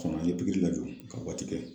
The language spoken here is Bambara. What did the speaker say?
Kɔnɔ an ye pikiri lajɔ ka waati kɛ.